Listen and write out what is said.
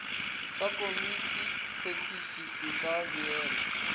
sa komitiphethiši se ka beelwa